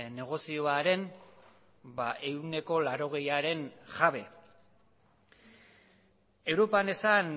negozioaren ehuneko laurogeiaren jabe europan esan